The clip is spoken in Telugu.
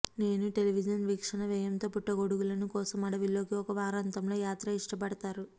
నేను టెలివిజన్ వీక్షణ వ్యయంతో పుట్టగొడుగులను కోసం అడవుల్లోకి ఒక వారాంతంలో యాత్ర ఇష్టపడతారు